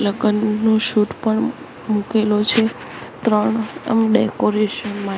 લગનનું shoot પણ મુકેલો છે ત્રણ ડેકોરેશન માં--